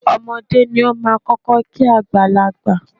Ọmọdé ni ó máa ń kọ́kọ́ kí àgbàlagbà.